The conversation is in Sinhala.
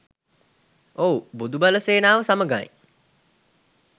ඔව් බොදු බල සේනාව සමඟයි